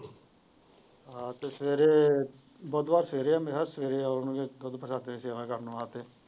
ਆ ਤੇ ਸਵੇਰੇ ਬੁੱਧਵਾਰ ਸਵੇਰੇ ਆਉਣਗੇ ਨੇ ਸਵੇਰੇ ਆਉਣ ਗਏ ਦੁੱਧ ਪ੍ਰਸ਼ਦੀਆਂ ਦੀ ਸੇਵਾ ਕਰਨ ਵਾਸਤੇ।